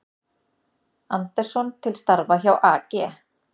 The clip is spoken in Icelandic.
Andersson til starfa hjá AG